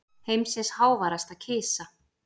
Heimsins háværasta kisa